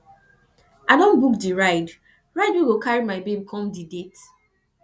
i don book di ride ride wey go carry my babe come di date